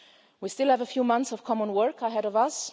an end. We still have a few months of common work ahead